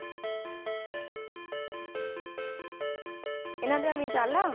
ਇਹਨਾਂ ਦੀਆਂ ਮਿਸਾਲਾਂ?